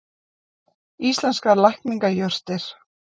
Íslenskar lækningajurtir.